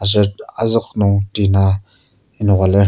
aser azuk nung tina enoka lir.